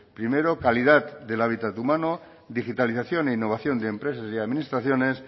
primero calidad del hábitat humano digitalización e innovación de empresas y administraciones